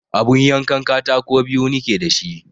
Abun yankan katako biyu nike da shi